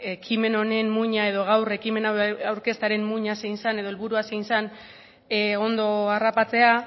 ekimen honen muina edo gaur ekimen hau aurkeztearen muina zein zen edo helburua zein zen ondo harrapatzea